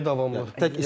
Zərbəyə davamlıq.